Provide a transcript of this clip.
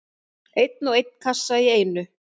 Einn og einn kassa í einu.